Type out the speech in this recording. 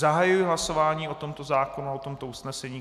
Zahajuji hlasování o tomto zákonu a o tomto usnesení.